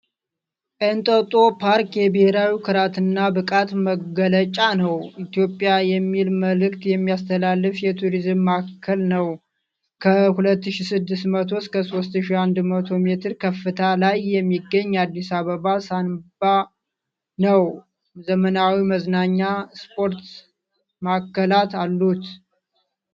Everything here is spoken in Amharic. ኤንጦጦ ፓርክ የብሔራዊ ኩራትና ብቃት መገለጫ ነው። ኢትዮጵያ የሚል መልዕክት የሚያስተላልፍ የቱሪዝም ማዕከል ነው። ከ2,600-3,100 ሜትር ከፍታ ላይ የሚገኝ የአዲስ አበባ ሳንባ ነው። ዘመናዊ መዝናኛ፣ ስፖርት፣ ስፓ ማዕከላት አሉት።